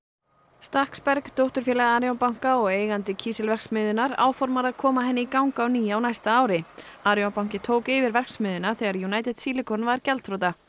stakksberg dótturfélag Arion banka og eigandi kísilverksmiðjunnar áformar að koma henni í gang á ný á næsta ári Arion banki tók yfir verksmiðjuna þegar United Silicon varð gjaldþrota